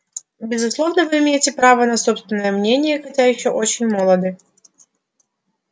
безусловно вы имеете право на собственное мнение хотя ещё очень молоды